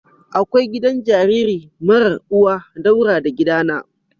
Akwai gidan jariri marar uwa daura da gidana.